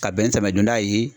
Ka bɛn ni samiya don da ye